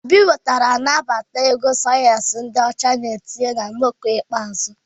Obi nwetara nnabata ịgụ sayensị dị ọcha na etinyere na nnọkọ ikpeazụ.